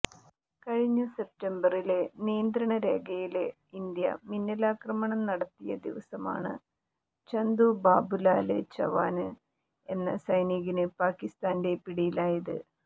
കഴിഞ്ഞ സെപ്തംബറില് നിയന്ത്രണ രേഖയില് ഇന്ത്യ മിന്നലാക്രമണം നടത്തിയ ദിവസമാണ് ചന്തു ബാബുലാല് ചവാന് എന്ന സൈനികന് പാകിസ്താന്റെ പടിയിലായത്